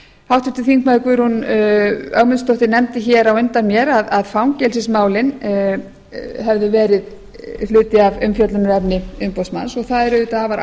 háttvirtur þingmaður guðrún ögmundsdóttir nefndi á undan mér að fangelsismálin hefðu verið hluti af umfjöllunarefni umboðsmanns og það er auðvitað afar